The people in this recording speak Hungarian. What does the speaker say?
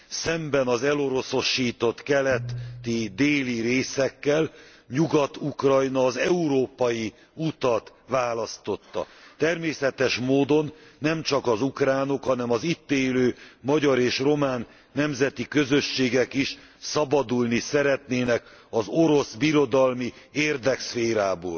Szemben az eloroszosított keleti, déli részekkel, Nyugat Ukrajna az európai utat választotta. Természetes módon nemcsak az ukránok, hanem az itt élő magyar és román nemzeti közösségek is szabadulni szeretnének az orosz birodalmi érdekszférából.